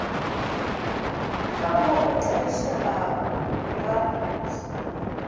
ka mo o tlaišegago ga